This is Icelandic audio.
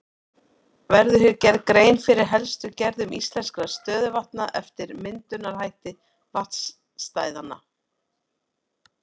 Verður hér gerð grein fyrir helstu gerðum íslenskra stöðuvatna eftir myndunarhætti vatnastæðanna.